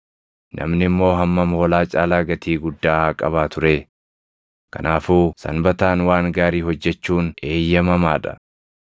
Namni immoo hammam hoolaa caalaa gatii guddaa haa qabaatu ree! Kanaafuu Sanbataan waan gaarii hojjechuun eeyyamamaa dha.”